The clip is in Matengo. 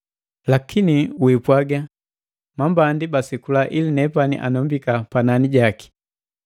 Lakini wiipwaga, “Mambandi basekula ili nepani anombika panani jaki.”